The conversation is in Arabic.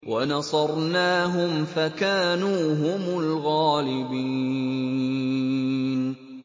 وَنَصَرْنَاهُمْ فَكَانُوا هُمُ الْغَالِبِينَ